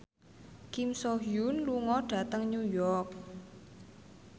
Kim So Hyun lunga dhateng New York